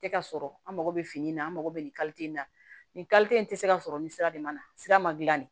Tɛ ka sɔrɔ an mako bɛ fini na an mago bɛ nin in na nin in tɛ se ka sɔrɔ nin sira de man na sira ma dilan de